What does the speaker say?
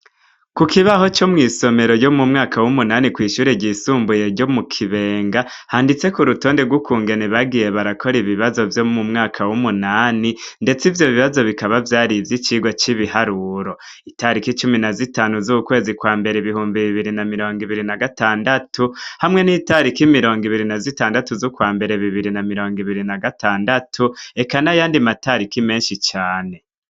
Ku kibaho co mw'isomero ryo mu mwaka w'umunani kw'ishure ryisumbuye ryo mu kibenga handitse ku rutonde rw'ukungene bagiye barakora ibibazo vyo mu mwaka w'umunani, ndetse ivyo bibazo bikaba vyari ivyo icirwa c'ibiharuro itariko icumi na zitanu z'ukwezi kwa mbera ibihumbi bibiri na mirongo ibiri na gatandatu hamwe n'italiko ki mirongo ibiri na zitandatu z'kwa mbere bibiri na mirongo ibiri na gatandatu eka na yandi matariki menshi cane.